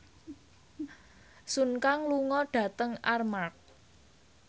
Sun Kang lunga dhateng Armargh